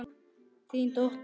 Þín dóttir.